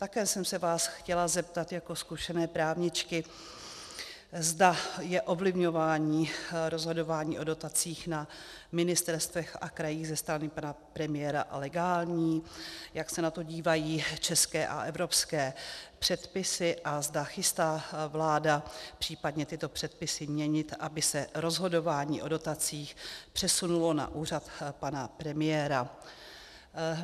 Také jsem se vás chtěla zeptat jako zkušené právničky, zda je ovlivňování rozhodování o dotacích na ministerstvech a krajích ze strany pana premiéra legální, jak se na to dívají české a evropské předpisy a zda chystá vláda případně tyto předpisy měnit, aby se rozhodování o dotacích přesunulo na úřad pana premiéra.